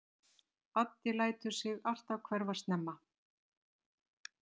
Addi lætur sig alltaf hverfa snemma.